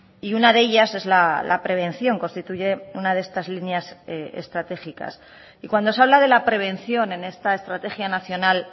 y una de ellas es la prevención constituye una de estas líneas estratégicas y cuando se habla de la prevención en esta estrategia nacional